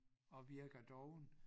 Og virker doven